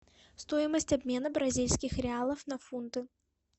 стоимость обмена бразильских реалов на фунты